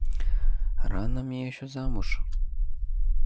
рано мне ещё замуж